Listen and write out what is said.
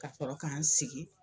Ka sɔrɔ k'an sigi.